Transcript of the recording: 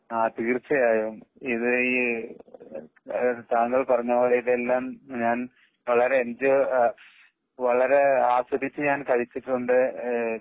ആ തീർച്ചയായും ഇത് ഈ താങ്കൾ പറഞ്ഞപോലെ ഇതെല്ലാം ഞാൻ വളരെ എന്ജോയ് വളരെ ആസാദിച്ചു ഞാൻ കഴിച്ചിട്ടുണ്ട്. ഏഹ്